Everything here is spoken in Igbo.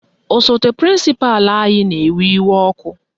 Osote prịnsịpalụ anyị na-ewe iwe ọkụ